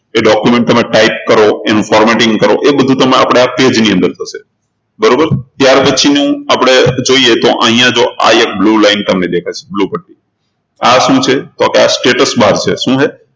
એ document તમે type કરો એનું formatting કરો એ બધું તમારે આ page ની અંદર થશે બરોબર ત્યારપછીનું આપણે જોઈએ તો અહિયાં જો આ એક blue line તમને દેખાય છે આ શું છે તો કે આ છે શું છે